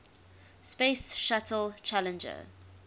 space shuttle challenger